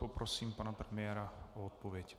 Poprosím pana premiéra o odpověď.